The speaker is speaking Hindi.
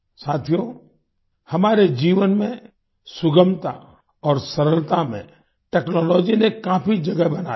साथियो हमारे जीवन में सुगमता और सरलता में टेक्नोलॉजी ने काफी जगह बना ली है